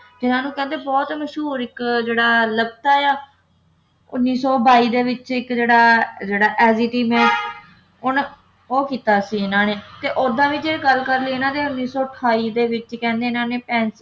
ਇਨ੍ਹਾਂ ਨੂੰ ਕਹਿੰਦੇ ਹੈਂ ਬਹੁਤ ਮਸ਼ਹੂਰ ਇੱਕ ਜਿਹੜਾ ਲਪਸਾ ਹੈ ਉੱਨੀ ਸੌ ਬਾਈ ਦੇ ਵਿੱਚ ਇਕ ਜਿਹੜਾ ਉਨ੍ਹਾਂ ਉਹ ਕੀਤਾ ਸੀ ਇਨ੍ਹਾਂ ਨੇ ਓਦਾਂ ਵੀ ਜੇ ਗੱਲ ਕਰ ਲਈਏ ਇਨ੍ਹਾਂ ਦੇ ਉੱਨੀ ਸੌ ਅਠਾਈ ਦੇ ਵਿੱਚ ਕਹਿੰਦੇ ਇਨ੍ਹਾਂ ਨੇ